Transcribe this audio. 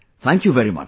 Thank you very much